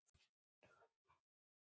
Sama gerðu Danir.